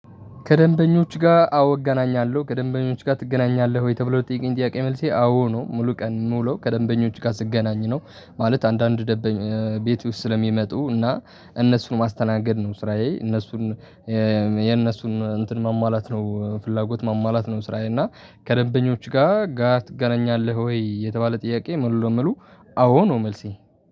ከደንበኞች ጋር አዎ እገናኛለሁ ከደንበኞች ጋር ትገናኛለህ ወይ ተብሎ ለጠይቀኝ ጥያቄ መልሴ አዎ ነው። ሙሉ ቀን ምውለው ከደንበኞች ጋር ስገናኝ ነው። ማለት አንዳንድ ቤቴ ውስጥ ስለሚመጡ እና እነሱን ማስተናገድ ነው ስራዬ እነሱን የነሱን እንትን ማሟላት ነው ፍላጎት ማሟላት ነው። ስራዬ። እና ከደንበኞች ጋር ጋር ትገናኛለህ ወይ የተባለ ጥያቄ? ሙሉ ለሙሉ አዎ ነው መልሴ